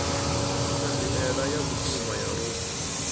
thanziela ya vhukuma ya lufu